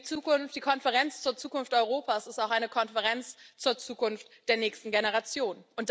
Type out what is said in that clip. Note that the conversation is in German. Denn die Konferenz zur Zukunft Europas ist auch eine Konferenz zur Zukunft der nächsten Generation.